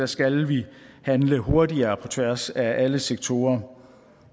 skal vi handle hurtigere på tværs af alle sektorer